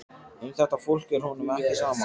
Um þetta fólk er honum ekki sama.